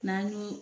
N'an y'o